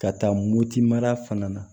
Ka taa moti mara fana na